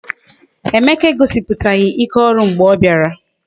Mba, Emeka egosipụtaghị ike ọrụ mgbe ọ bịara